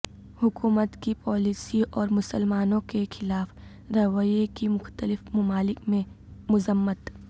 حکومت کی پالیسیوں اور مسلمانوں کے خلاف رویہ کی مختلف ممالک میں مذمت